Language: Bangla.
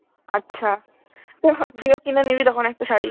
আচ্ছা তো তুইও কিনে নিবি তখন একটা শাড়ি